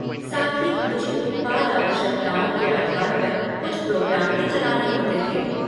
साथ ही, मुझे उत्पाद आवश्यकताओं के आधार पर कुछ प्रोग्राम भी चलाने होते थे।